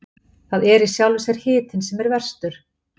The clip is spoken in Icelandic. Það er í sjálfu sér hitinn sem er verstur.